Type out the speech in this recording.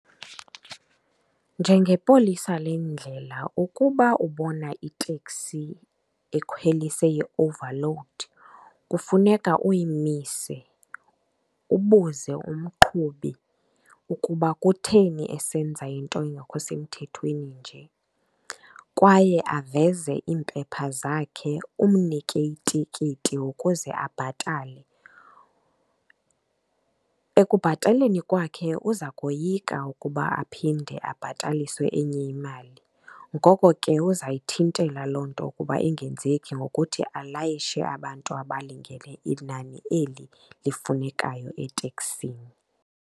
Njengepolisa lendlela ukuba ubona iteksi ekhwelise i-overload kufuneka uyimise ubuze umqhubi ukuba kutheni esenza into engekho semthethweni nje, kwaye aveze iimpepha zakhe umnike itikiti ukuze abhatale. Ekubhataleni kwakhe uza koyika ukuba aphinde abhataliswe enye imali. Ngoko ke uzayithintela loo nto ukuba ingenzeki ngokuthi alayishe abantu abalungene inani eli lifunekayo eteksini.